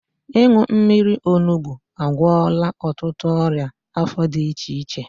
Ịṅụ mmiri onugbu agwọla ọtụtụ ọrịa afọ dị iche iche